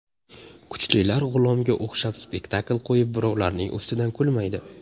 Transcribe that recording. Kuchlilar G‘ulomga o‘xshab spektakl qo‘yib birovlarning ustidan kulmaydi.